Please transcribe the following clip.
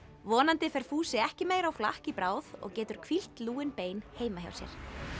vonandi fer Fúsi ekki á meira flakk í bráð og getur hvílt lúin bein heima hjá sér